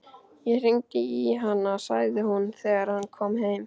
Ég hringdi í hana, sagði hún þegar hann kom heim.